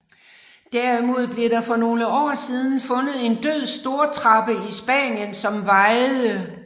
Derimod blev der for nogle år siden fundet en død stortrappe i Spanien som vejede